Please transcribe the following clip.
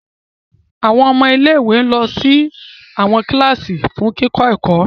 Awọn ọmọ ilé-ìwé lọ sí awọn kilasi fún kikọ ẹkọ